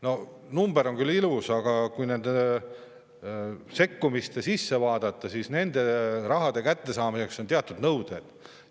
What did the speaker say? No number on küll ilus, aga kui nende sisse vaadata, siis selle raha kättesaamiseks on teatud nõuded.